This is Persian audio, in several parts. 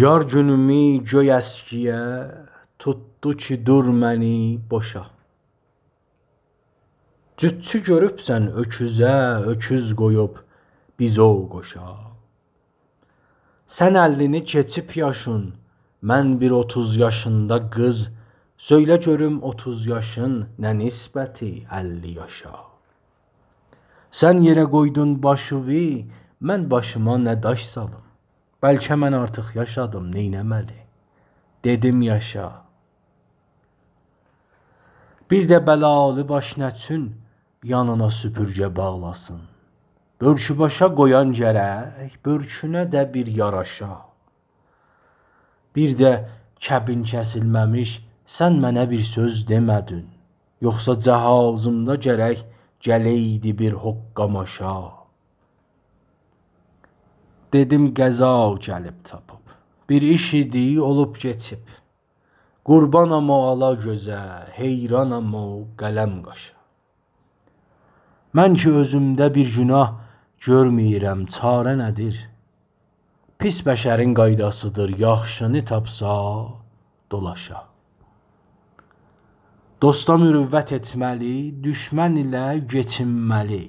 یار گونومی گؤی اسگییه توتدو کی دور منی بوشا جوتچو گؤروبسه ن اؤکوزه اؤکوز قویوب بیزوو قوشا سن اللینی کیچیب یاشین من بیر اوتوز یاشیندا قیز سؤیله گؤروم اوتوز یاشین نه نیسبتی اللی یاشا سن ییره قویدون باشیوی من باشیما نه داش سالیم بلکه من آرتیق یاشادیم نییله مه لی دیدیم یاشا بیرده بلالی باش نچون یانینا سوپورگه باغلاسین بؤرکو باشا قویان گرک بؤرکونه ده بیر یاراشا بیرده کبین کسیلمه میش سن منه بیر سؤز دیمه دین یوخسا جهازیمدا گرک گلییدی بیر حوققا ماشا دیدیم قضا گلیب تاپیب بیر ایشیدی اولوب کیچیب قوربانام او آلا گؤزه حییرانام او قلم قاشا منکی اؤزومده بیر گوناه گؤرمه ییرم چاره ندیر پیس بشرین قایداسی دیر یاخشی نی گؤرسه دولاشا دوستا مروت ایتمه لی دوشمه نیله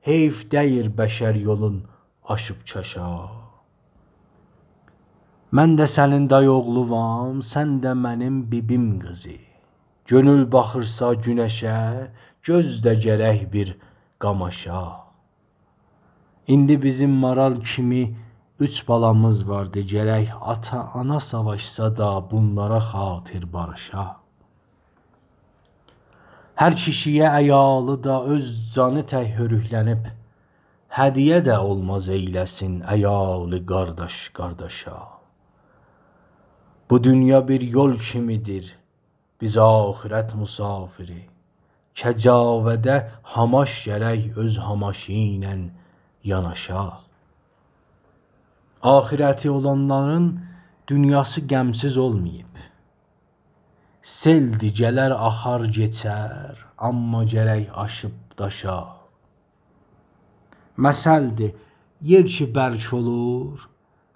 کیچینمه لی قایدا بودیر حییف دیگیل بشر یولون آشیب چاشا من ده سنین دای اوغلونام سن ده منیم بی بیم قیزی گؤنول باخیرسا گونه شه گؤزده گرک بیر قاماشا ایندی بیزیم مارال کیمی اوچ بالامیز واردی گرک آتا – آنا ساواشسادا بونلارا خاطیر باریشا هر کیشی یه عیالی دا اؤز جانی تک هؤروکلنیب هدیه ده اولماز ایله سین عیالی قارداش قارداشا بو دونیا بیر یول کیمی دیر بیز آخرت مسافیری کجاوه ده هاماش گرک اؤز هاماشینان یاناشا آخیرتی اولانلارین دونیاسی غم سیز اولمویوب سیل دی گله ر آخار کیچر آمما گرک آشیب – داشا مثل دی ییر کی برک اولور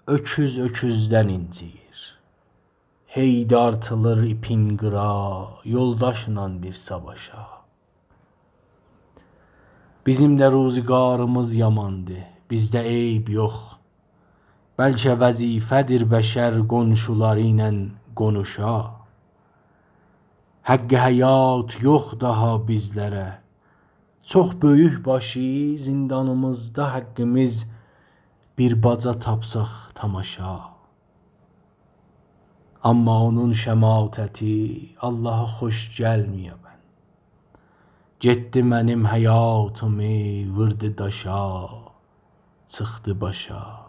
اؤکوز اؤکوزدن اینجییور هی دارتیلیر ایپین قیرا یولداشیلا بیر ساواشا بیزیم ده روزیگاریمیز یامان دی بیزده عیب یوخ بلکه وظیفه دیر بشر قونشولاریلان قونوشا حق حیات یوخ داها بیزلره چوخ بؤیوک باشی زندانیمیزدا حققیمیز بیر باجا تاپساق تاماشا آمما اونون شماتتی آللاها خوش گلمیوبن گیتدی منیم حیاتیمی ووردی داشا چیخدی باشا